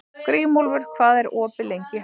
Grímúlfur, hvað er opið lengi í Hagkaup?